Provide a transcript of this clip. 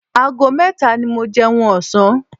Ago mẹ́ta ni mo jẹun ọ̀sán.